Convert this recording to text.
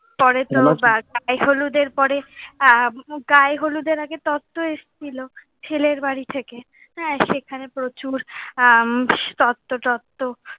পরে তো গায়ে হলুদের পরে, গায়ে হলুদের আগে তত্ব এসেছিলো, ছেলের বাড়ি থেকে। হ্যাঁ সেখানে প্রচুর আহ তত্ব টত্ব,